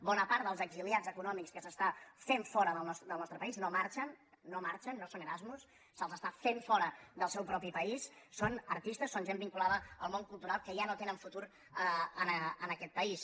bona part dels exiliats econòmics que s’estan fent fora del nostre país no marxen no marxen no són erasmus se’ls està fent fora del seu propi país són artistes són gent vinculada al món cultural que ja no tenen futur en aquest país